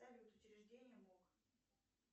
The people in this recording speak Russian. салют учреждение мок